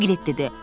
Piqlet dedi.